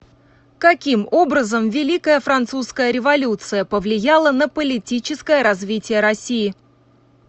каким образом великая французская революция повлияла на политическое развитие россии